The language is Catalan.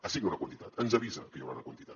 assigna una quantitat ens avisa que hi haurà una quantitat